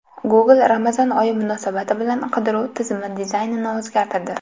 Google Ramazon oyi munosabati bilan qidiruv tizimi dizaynini o‘zgartirdi.